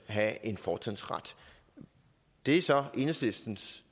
have en fortrinsret det er så enhedslistens